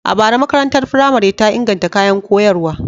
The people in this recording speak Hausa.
A bara, makarantar firamare ta inganta kayan koyarwa.